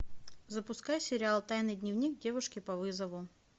запускай сериал тайный дневник девушки по вызову